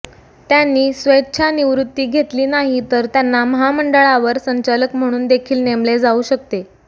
त्यांनी स्वच्छानिवृत्ती घेतली नाही तर त्यांना महामंडळावर संचालक म्हणून देखील नेमले जाऊ शकते